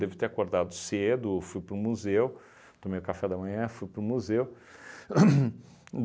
Devo ter acordado cedo, fui para o museu, tomei o café da manhã, fui para o museu. Hum